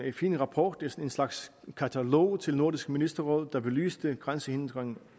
fin rapport en slags katalog til nordisk ministerråd der belyste grænsehindringerne